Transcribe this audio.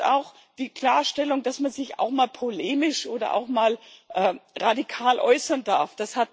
Auch die Klarstellung, dass man sich auch mal polemisch oder auch mal radikal äußern darf